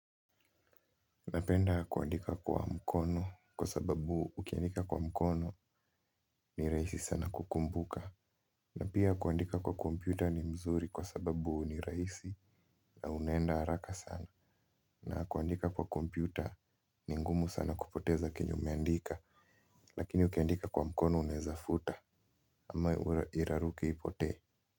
Napenda kuandika kwa mkono kwa sababu ukiandika kwa mkono ni raisi sana kukumbuka. Na pia kuandika kwa kompyuta ni mzuri kwa sababu ni raisi na unaenda haraka sana. Na kuandika kwa kompyuta ni ngumu sana kupoteza kenye umeandika. Lakini ukiandika kwa mkono unaezafuta ama iraruke ipotee.